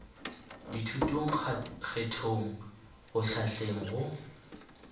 dithutong kgethong go hlahleng go